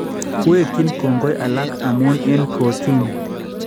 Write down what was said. Wekyin kongoi alaak amun eng kotiin